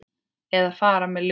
Eða fara með ljóð.